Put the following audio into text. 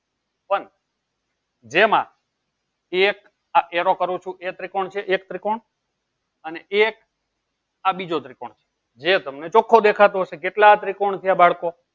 પણ જેમાં એક આ arrow કરું છું એ ત્રિકોણ છે એક ત્રિકોણ અને એક આ બીજો ત્રિકોણ કે તમને ચોખો દેખાસો હશે કેટલા ત્રિકોણ છે બાળકો